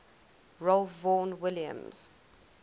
ralph vaughan williams